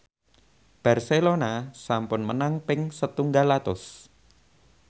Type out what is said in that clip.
Barcelona sampun menang ping setunggal atus